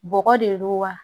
Bɔgɔ de don wa